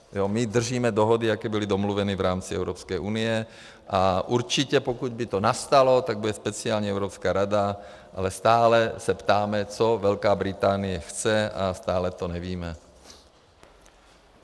My držíme dohody, jaké byly domluvené v rámci Evropské unie, a určitě, pokud by to nastalo, tak bude speciální Evropská rada, ale stále se ptáme, co Velká Británie chce, a stále to nevíme.